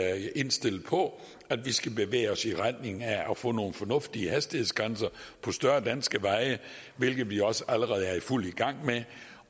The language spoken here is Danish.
er indstillet på at vi skal bevæge os i retning af at få nogle fornuftige hastighedsgrænser på større danske veje hvilket vi også allerede er i fuld gang med